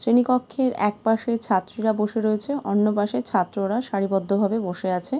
শ্রেণী কক্ষের এক পশে ছাত্রীরা বসে রয়েছে। অন্য পশে ছাত্ররা সারি বদ্ধ ভাবে বসে আছে |